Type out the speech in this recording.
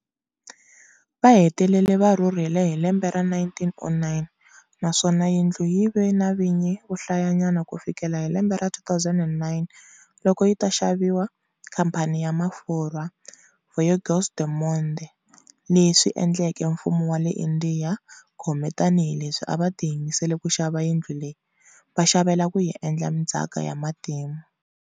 Vahetelele va rhurhile hi lembe ra 1909, naswona yindlu yindlu yive na vinyi vohlayanyana kufikela hi lembe ra 2009 loko yi ta xaviwa khampani ya mafurhwa Voyageurs du Monde, leswi endleke mfumo wa le Indiya gome tani hileswi a va tiyimisele kuxava yindlu leyi, va xavela ku yiendla ndzaka ya matimu.